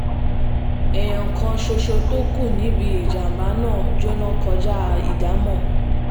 èèyàn kan ṣoṣo tó kù níbi ìjàm̀bá náà jóná kọjá ìdámò